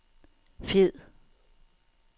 fed